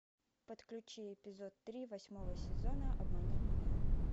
подключи эпизод три восьмого сезона обмани меня